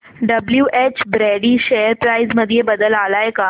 WH Brady share price मध्ये बदल आलाय का